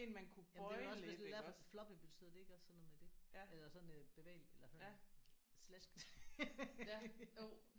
Jamen det er vel også hvis det er derfor floppy betyder det ikke også sådan noget med det? Eller sådan øh bevægelig eller slasket?